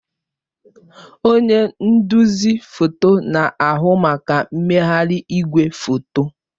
Onye nduzi foto na-ahụ maka mmegharị igwefoto.